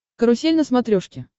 карусель на смотрешке